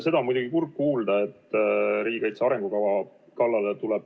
Seda on muidugi kurb kuulda, et tuleb minna riigikaitse arengukava kallale.